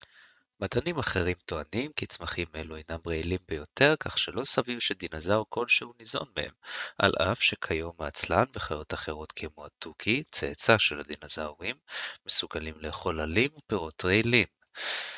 מדענים אחרים טוענים כי צמחים אלו הינם רעילים ביותר כך שלא סביר שדינוזאור כלשהו ניזון מהם על אף שכיום העצלן וחיות אחרות כמו התוכי צאצא של הדינוזאורים מסוגלים לאכול עלים ופירות רעילים